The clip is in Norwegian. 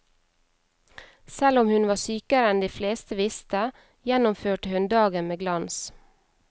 Selv om hun var sykere enn de fleste visste, gjennomførte hun dagen med glans.